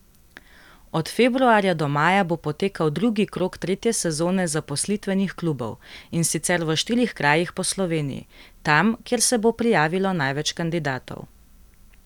Od februarja do maja bo potekal drugi krog tretje sezone zaposlitvenih klubov, in sicer v štirih krajih po Sloveniji, tam, kjer se bo prijavilo največ kandidatov.